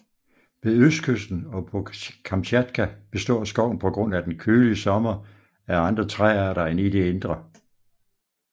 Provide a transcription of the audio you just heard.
Ved østkysten og på Kamtjatka består skoven på grund af den kølige sommer af andre træarter end i det indre